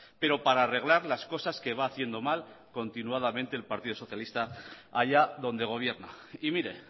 pero para arreglar las cosas que va haciendo mal continuadamente el partido socialista hallá donde gobierna y mire